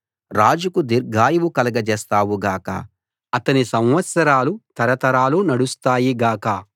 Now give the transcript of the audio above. రాజుకు దీర్ఘాయువు కలుగజేస్తావు గాక అతని సంవత్సరాలు తరతరాలు నడుస్తాయి గాక